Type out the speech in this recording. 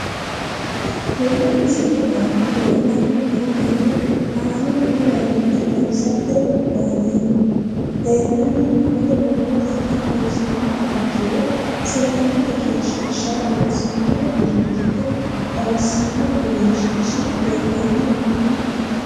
Tene misile aana leelanni nooerre aane noo garinni xawisate wonaaleemmo. Leelanni nooerre borrotenni xawisummoha ikkiro selam egeensisha loosanno dirijite xawisanno egeensishi leelanni nooe.